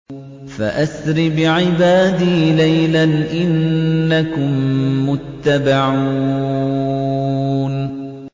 فَأَسْرِ بِعِبَادِي لَيْلًا إِنَّكُم مُّتَّبَعُونَ